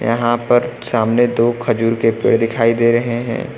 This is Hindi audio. यहां पर सामने दो खजूर के पेड़ दिखाई दे रहे हैं।